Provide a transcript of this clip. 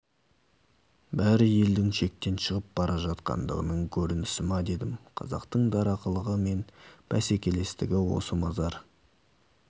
бәрі елдің шектен шығып бара жатқандығының көрінісі ма дедім қазақтың дарақылығы мен бәсекелестігі осы мазар